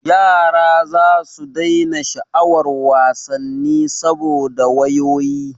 Yara zasu daina sha'awar wasanni saboda wayoyi.